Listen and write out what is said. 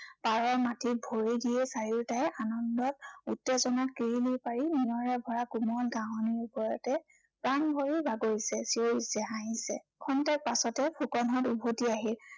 পাৰৰ মাটিত ভৰি দিয়েই চাৰিওটাই আনন্দত উত্তেজনাত কিৰিলি পাৰি নিয়ৰে ভৰা কোমল ঘাঁহনিৰ ওপৰতেই প্ৰাণ ভৰি বাগৰিছে, চিঞৰিছে, হাঁহিছে। ক্ষন্তেক পাছতে ফুকনহঁত উভটি আহিল।